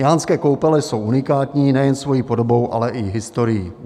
Jánské Koupele jsou unikátní nejen svoji podobou, ale i historií.